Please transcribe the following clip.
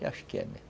Eu acho que é mesmo.